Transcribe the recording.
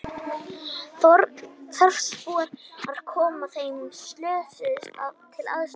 Frekara lesefni á Vísindavefnum: Hvað er ljóð?